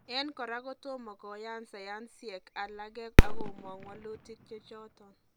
En kora kotomo koyan sayansiek alage akomong' walutik chechoton